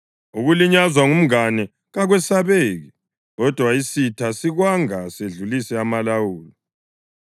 Ukulinyazwa ngumngane kakwesabeki, kodwa isitha sikwanga sedlulise amalawulo.